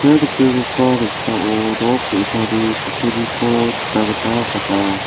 ia noksao nok ge·sani kutturiko nikna gita man·a.